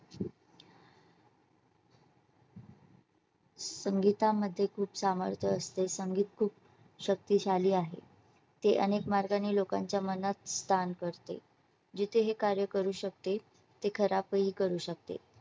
संगीतामध्ये खूप सामर्थ्य असते. संगीत खूप शक्तिशाली आहे. ते अनेक मार्गाने लोकांच्या मनात स्थान करते. जिथे हे कार्य करू शकते ते खराब करू ही शकते.